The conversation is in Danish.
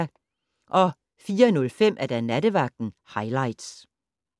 04:05: Nattevagten highlights